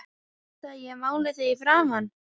VILTU AÐ ÉG MÁLI ÞIG Í FRAMAN?